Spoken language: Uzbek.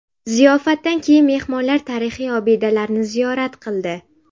Ziyofatdan keyin mehmonlar tarixiy obidalarni ziyorat qildi.